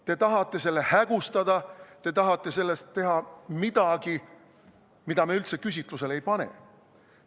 Te tahate selle hägustada, te tahate sellest teha midagi, mida me üldse küsitlusele ei pane.